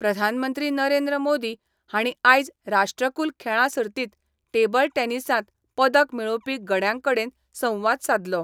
प्रधानमंत्री नरेंद्र मोदी हांणी आयज राष्ट्रकूल खेळां सर्तित टेबल टॅनिसांत पदक मेळोवपी गड्यांकडेन संवाद साधलो.